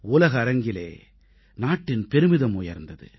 உலக அரங்கிலே நாட்டின் பெருமிதம் உயர்ந்தது